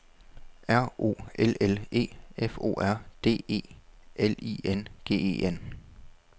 R O L L E F O R D E L I N G E N